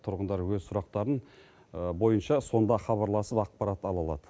тұрғындар өз сұрақтарын бойынша сонда хабарласып ақпарат ала алады